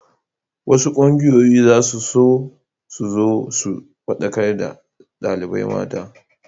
Wasu ƙungiyoyi za su zo su faɗakar da ɗalibai mata.